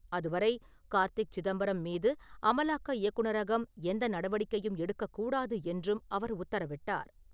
அதுவரை கார்த்தி சிதம்பரம் மீது அமலாக்க இயக்குநரகம் எந்த நடவடிக்கையும் எடுக்கக்கூடாது என்றும் அவர் உத்தரவிட்டார்.